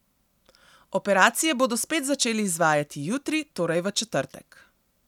Operacije bodo spet začeli izvajati jutri, torej v četrtek.